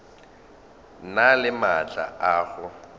na le maatla a go